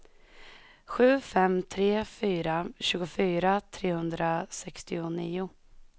sju fem tre fyra tjugofyra trehundrasextionio